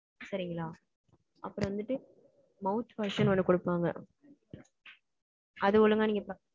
சரிங்களா? அப்புறம் வந்துட்டு mouth wash ன்னு ஒண்ணு கொடுப்பாங்க. அது ஒழுங்கா நீங்க ப~